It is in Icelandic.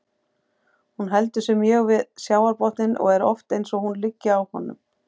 Hún heldur sig mjög við sjávarbotninn og er oft eins og hún liggi á honum.